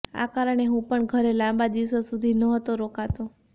આ કારણે હું પણ ઘરે લાંબા દિવસો સુધી નહોતો રોકાતો